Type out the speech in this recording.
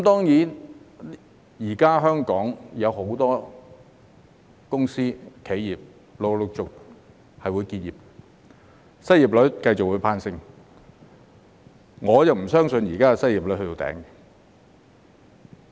現時，香港有很多公司、企業會陸續結業，失業率亦會繼續攀升，我不相信現時的失業率已到頂點。